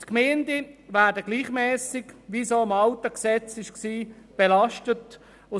Die Gemeinden werden gleichmässig belastet, wie dies auch schon im alten Gesetz der Fall war.